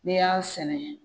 N'i y'a sɛnɛ